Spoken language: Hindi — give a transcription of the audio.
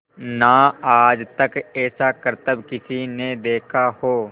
ना आज तक ऐसा करतब किसी ने देखा हो